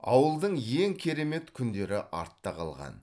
ауылдың ең керемет күндері артта қалған